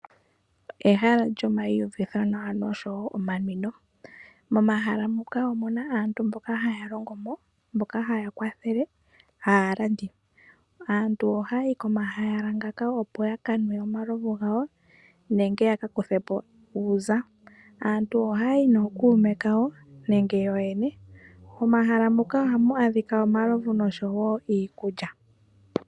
Ehala lyomaiyuvitho nawa osho wo omanwino, momahala muka omuna aantu mboka haya longo mo, mboka haya kwathele aalandi. Aantu oha yayi komahala ngaka opo ya kanwe omalovu gawo nenge ya ka kuthepo uuza. Aantu oha yayi nokuume yawo nenge yo yene. Momahala muka ohamu adhika omalovu osho wo iikulya.